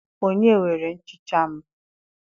Onye were nchicha m?